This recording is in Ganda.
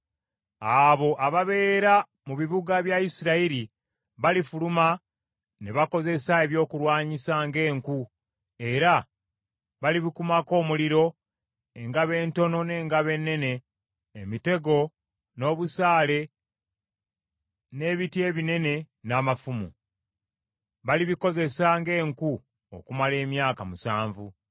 “ ‘Abo ababeera mu bibuga bya Isirayiri balifuluma ne bakozesa ebyokulwanyisa ng’enku era balibikumako omuliro, engabo entono n’engabo ennene, emitego n’obusaale n’ebiti ebinene n’amafumu. Balibikozesa ng’enku okumala emyaka musanvu.